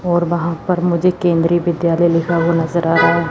और वहां पर मुझे केंद्रीय विद्यालय लिखा हुआ नजर आ रहा है।